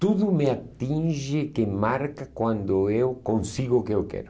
Tudo me atinge, que marca quando eu consigo o que eu quero.